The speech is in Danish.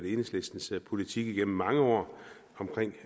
enhedslistens politik igennem mange år